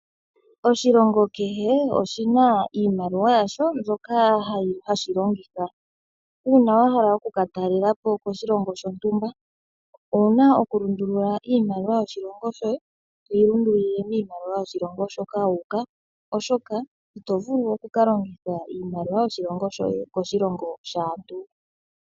Oshilongo kehe oshina iimaliwa yasho mbyoka hashi longitha. Uuna wahala oku ka talelapo koshilongo shontumba owuna oku lundulula iimaliwa yoshilongo shoye toyi lundulule miimaliwa yoshilongo shoka wa uka .